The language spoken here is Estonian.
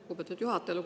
Lugupeetud juhataja!